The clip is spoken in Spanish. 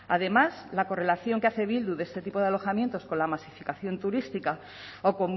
además la correlación que hace bildu de este tipo de alojamientos con la masificación turística o